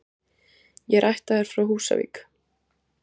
Ég er ættaður frá Húsavík.